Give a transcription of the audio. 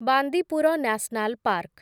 Bandipur national park